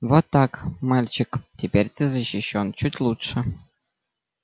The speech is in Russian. вот так мальчик теперь ты защищён чуть лучше